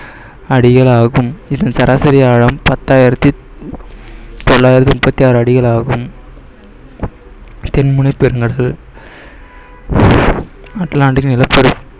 அடிகள் ஆகும் இதன் சராசரி ஆழம், பத்தாயிரத்தி தொள்ளாயிரத்தி முப்பத்தி ஆறு அடிகள் ஆகும் தென்முனை பெருங்கடல் அட்லாண்டிக் நிலப்பர~